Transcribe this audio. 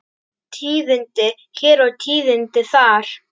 Tíðindi hér og tíðindi þar.